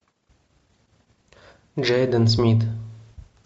джейден смит